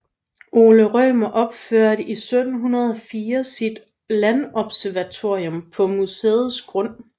Ole Rømer opførte i 1704 sit landobservatorium på museets grund